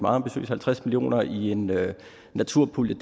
ambitiøse halvtreds million kroner i en naturpulje